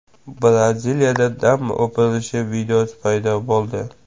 Braziliyada damba o‘pirilishi videosi paydo bo‘ldi .